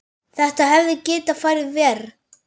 Þetta hefði getað farið verr.